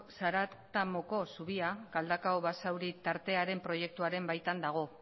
zaratamoko zubia galdakao basauri tartearen proiektuaren baitan dago